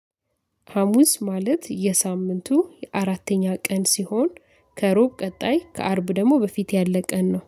ሀሙስ ማለት የሳምንቱ የአራተኛ ቀን ሲሆን ከሮብ ቀጣይ ከአርብ ደግሞ በፊት ያለ ቀን ነው።